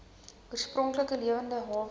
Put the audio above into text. oorspronklike lewende hawe